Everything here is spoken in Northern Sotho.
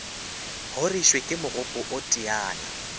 horišwe ke mogopo o teyana